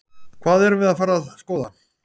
Hvað erum við að fara að skoða?